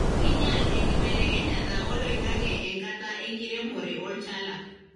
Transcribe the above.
kinyial enkibelekenyata oloingange enkataa enkiremore olchala.